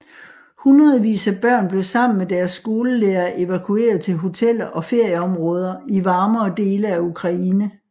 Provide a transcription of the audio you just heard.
Hundredvis af børn blev sammen med deres skolelærere evakueret til hoteller og ferieområder i varmere dele af Ukraine